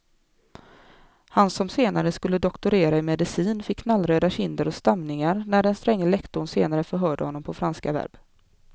Han som senare skulle doktorera i medicin fick knallröda kinder och stamningar när den stränge lektorn senare förhörde honom på franska verb.